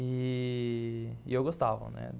E... e eu gostava, né?